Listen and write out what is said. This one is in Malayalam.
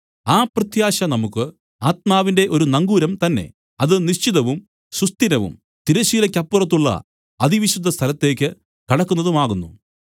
ആ പ്രത്യാശ നമുക്കു ആത്മാവിന്റെ ഒരു നങ്കൂരം തന്നേ അത് നിശ്ചിതവും സുസ്ഥിരവും തിരശ്ശീലക്കപ്പുറത്തുള്ള അതിവിശുദ്ധ സ്ഥലത്തേയ്ക്ക് കടക്കുന്നതുമാകുന്നു